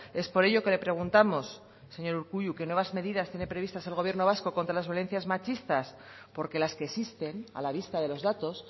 es por ello que le preguntamos señor urkullu qué nuevas medidas tiene previstas el gobierno vasco contra las violencias machistas porque las que existen a la vista de los datos